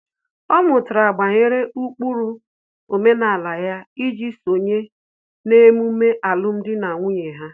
Ọ mụtara banyere ụkpụrụ omenala ya iji sonye n'emume alụmdi na nwunye ha